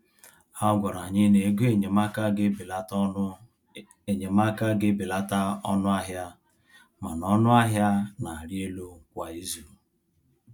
A gwara anyị na-ego enyemaka ga-ebelata ọnụ enyemaka ga-ebelata ọnụ ahịa mana ọnụ ahịa na-arị elu kwa izu.